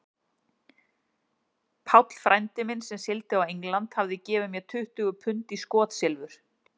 Páll frændi minn, sem sigldi á England, hafði gefið mér tuttugu pund í skotsilfur.